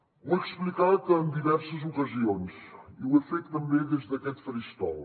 ho he explicat en diverses ocasions i ho he fet també des d’aquest faristol